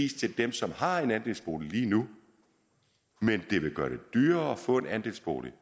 til dem som har en andelsbolig lige nu men det vil gøre det dyrere at få en andelsbolig